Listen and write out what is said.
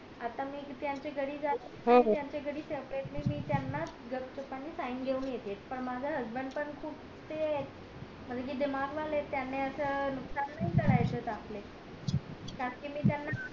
आता मी त्याचे घरी जाते त्यांच्या घरी सेप्रेट मी त्याना गपचूप पने sign घेऊन येते पण माझा husband पण खूप ते येत दिमाग वाले येत त्यानी असं विचार नाही करायचेत आपले काकी मी त्याना